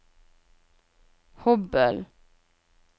Hobøl